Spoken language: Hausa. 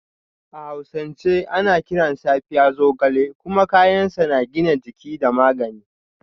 A hausance ana kiran Safiya Zogale kuma kayan sa na gina jiki da magani